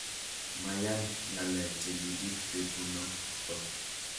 Mayan ngalek che kibit betunoto